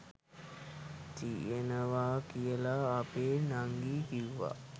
තියෙනවා කියලා අපෙ නංගි කිව්වා.